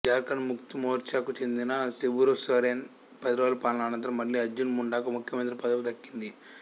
ఝార్ఖండ్ ముక్తి మోర్చాకు చెందిన శుబూసోరెన్ పదిరోజుల పాలన అనంతరం మళ్ళీ అర్జున్ ముండాకు ముఖ్యమంత్రి పదవి దక్కింది